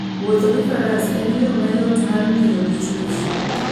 Wuotho gi faras en yo mayot mar ng'iyo gi chwech.